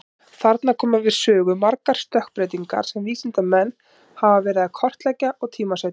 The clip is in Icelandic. Þarna koma við sögu margar stökkbreytingar sem vísindamenn hafa verið að kortleggja og tímasetja.